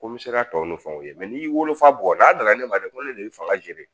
Ko n bɛ se ka tɔ ni fɛnw kɛ n'i y'i wolofa bugɔ n'a nana ne ma dɛ ko ne de y'i faga jeli